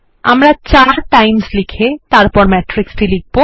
আমরা 4 টাইমস লিখে তারপর ম্যাট্রিক্স লিখব